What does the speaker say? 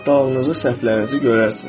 Saxtalığınızı, səhvlərinizi görərsiniz.